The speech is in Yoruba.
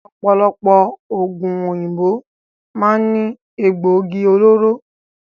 Ọ̀pọ̀lọpọ̀ oògùn òyìnbó máa ń ní Egbògi olóró